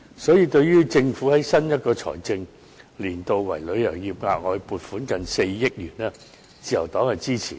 因此，對於政府在新一個財政年度為旅遊業額外撥款接近4億元，自由黨是支持的。